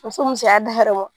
Muso musoya da hɛrɛ ma